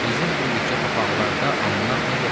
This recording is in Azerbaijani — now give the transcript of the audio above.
Bizim bu yekə papaqlarda anlıq nə gəzir?